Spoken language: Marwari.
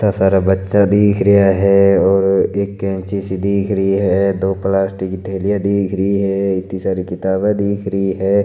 इत्ता सारा बच्चा सो दिख रहा है और एक कैंची सी दिख रही है दो पलास्टिक थेलिया दिख रही है इत्ती सारी किताबे दिख रही है।